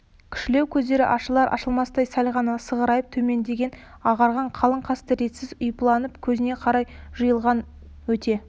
кішілеу көздері ашылар-ашылмастай сәл ғана сығырайып төмендеген ағарған қалың қасы ретсіз ұйпаланып көзіне қарай жайылған өте